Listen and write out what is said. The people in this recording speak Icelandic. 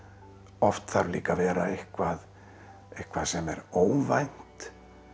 oft þarf líka að vera eitthvað eitthvað sem er óvænt